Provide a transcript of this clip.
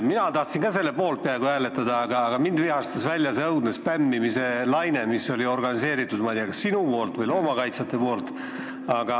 Mina tahtsin ka peaaegu selle eelnõu poolt hääletada, aga mind vihastas välja see õudne spämmimise laine, mis oli organiseeritud, ma ei tea, kas sinu või loomakaitsjate poolt.